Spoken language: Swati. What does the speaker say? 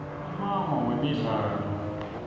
ummango wemidlalo